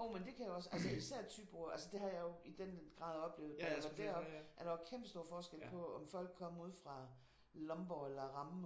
Jo men det kan jeg også altså især Thybo altså det har jeg i den grad oplevet da jeg var deroppe at der var kæmpestor forskel på om folk kom udefra Lomborg eller Rammen